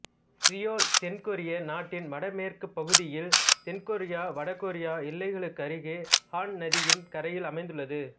Seoul தென்கொரிய நாட்டின் வடமேற்குப்பகுதியில் தென்கொரியவடகொரிய எல்லைக்கருகே ஹான் நதியின் கரையில் அமைந்துள்ளது